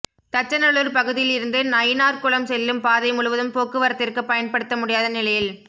தச்சநல்லூா் பகுதியில் இருந்து நயினாா்குளம் செல்லும் பாதை முழுவதும் போக்குவரத்திற்கு பயன்படுத்த முடியாத நிலையில்